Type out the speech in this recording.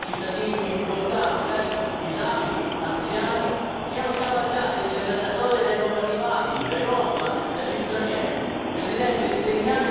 È inaccettabile che i miei concittadini in difficoltà magari disabili, anziani siano scavalcati nelle graduatorie dei nuovi arrivati, dai rom, dagli stranieri.